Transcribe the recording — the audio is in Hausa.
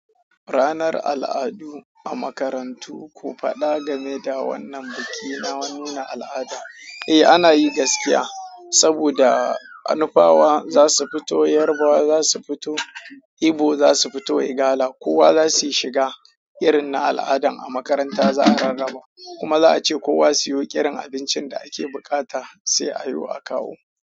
Ranar al'adu a makarantu ku faɗa game da wannan biki na nuna al'ada eh ana yi gaskiya, saboda a nufawa za su fito, yarbawa za su fito, Ibo za su fito, Igala kowa zasu shiga irin na al'adan a makaranta za a rarraba. Kuma za a ce kowa siyo ƙirin abincin da ake buƙata sai a yiwo a kawo.